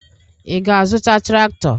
Ị ga-azụta traktọ?